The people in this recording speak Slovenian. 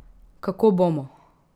Kako bomo?